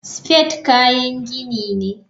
Spade kayan gini ne.